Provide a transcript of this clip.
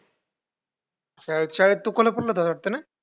शाळेत शाळेत तू कोल्हापूरला जात होतास ना?